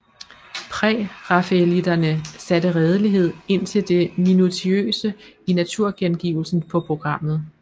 Prærafaelitterne satte redelighed indtil det minutiøse i naturgengivelsen på programmet